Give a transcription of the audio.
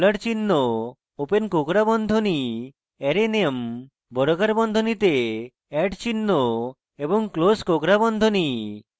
dollar চিহ্ন open কোঁকড়া বন্ধনী arrayname বর্গাকার বন্ধনীতে @চিহ্ন এবং ক্লোস কোঁকড়া বন্ধনী